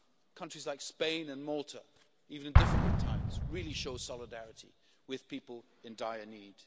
Countries like Spain and Malta, even in difficult times, really show solidarity with people in dire need.